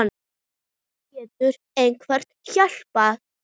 Getur einhver hjálpað?